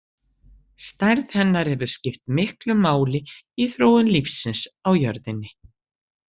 Stærð hennar hefur skipt miklu máli í þróun lífsins á jörðinni.